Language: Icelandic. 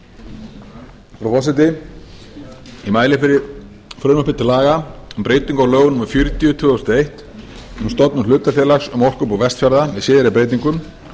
frú forseti ég mæli fyrir frumvarpi til laga um breyting á lögum númer fjörutíu tvö þúsund og eitt um stofnun hlutafélags um orkubú vestfjarða með síðari breytingum